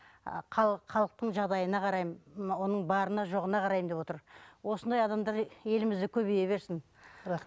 ы халықтың жағдайына қараймын оның барына жоғына қараймын деп отыр осындай адамдар елімізде көбейе берсін